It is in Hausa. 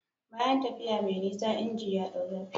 Bayan tafiya mai nisa, injin ya ɗau zafi.